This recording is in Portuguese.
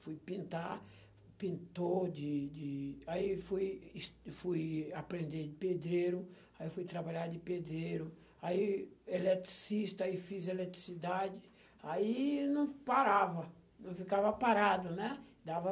fui pintar, pintou, de de aí fui es fui aprender de pedreiro, aí fui trabalhar de pedreiro, aí eletricista, aí fiz eletricidade, aí não parava, não ficava parado, né? Dava